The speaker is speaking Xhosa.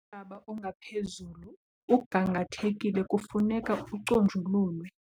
Umhlaba ongaphezulu ugangathekile kufuneka uconjululwe.